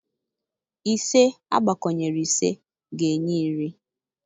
Ise agbakọnyere ise ga-enye iri.